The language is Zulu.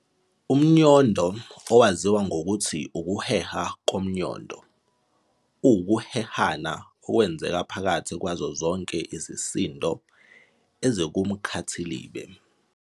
UmNyondo, owaziwa nangokuthi ukuheha komnyondo, uwukuhehana okwenzeka phakathi kwazo zonke izisindo ezikumkhathilibe.